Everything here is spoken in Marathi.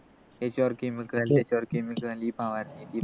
याच्यवर chemical त्याच्यवर chemical हे फवारते ते फवारते